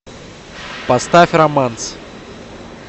поставь романс